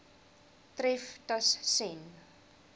tref tus sen